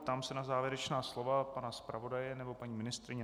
Ptám se na závěrečná slova pana zpravodaje nebo paní ministryně.